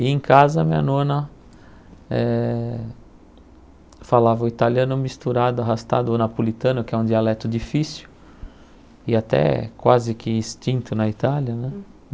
E em casa, minha nona eh falava o italiano misturado, arrastado, o napolitano, que é um dialeto difícil e até quase que extinto na Itália, né?